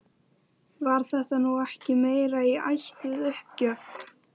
Var þetta nú ekki meira í ætt við uppgjöf?